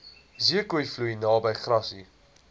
zeekoevlei naby grassy